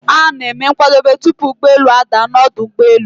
A na-eme nkwadebe, tupu ụgbọelu a daa n'ọdu ụgbọelu